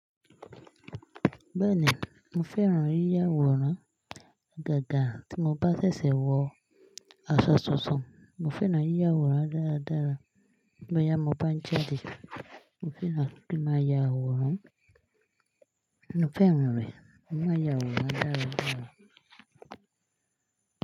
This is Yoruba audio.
Bẹ́ẹ̀ni, mo fẹ́ran yíya àwòrán. Ìgàgà tí mo bá ṣẹ̀ṣẹ̀ wọ aṣọ tuntun, mo fẹ́ràn yíya àwòrán dáradára. Lọ́yàn bá ń jáde, mo fẹ́ràn kí máa ya àwòrán. Mo fẹ́ràn rẹ̀, mo máa ya àwòrán dáradára.